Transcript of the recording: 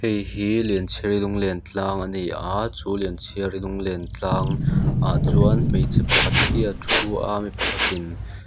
hei hi lianchhiari lunglen tlang a ni a chu lianchhiari lunglen tlangah chuan hmeichhe pakhat hi a thu a mi pakhat in--